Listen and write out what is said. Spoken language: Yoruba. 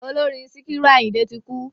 Ọlọ́rin Síkírù Àyìndé ti kú.